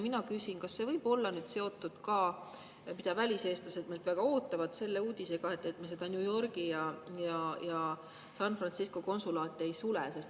Mina küsin, kas see võib olla seotud ka selle uudisega, mida väliseestlased meilt väga ootavad, et me New Yorgi ja San Francisco konsulaati ei sule.